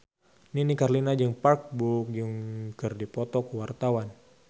Nini Carlina jeung Park Bo Yung keur dipoto ku wartawan